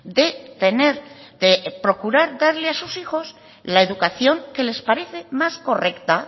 de tener de procurar darles a sus hijos la educación que les parece más correcta